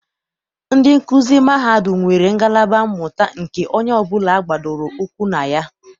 Ndị nkuzi mahadum nwere ngalaba mmụta nke onye ọbụla gbadoro ụkwụ na ya.